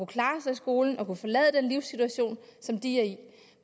klare sig i skolen og kunne forlade den livssituation som de er i